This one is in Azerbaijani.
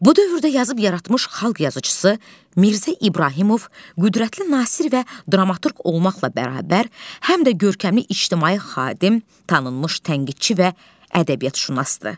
Bu dövrdə yazıb yaratmış xalq yazıçısı Mirzə İbrahimov qüdrətli Nasir və dramaturq olmaqla bərabər, həm də görkəmli ictimai xadim, tanınmış tənqidçi və ədəbiyyatşünasdır.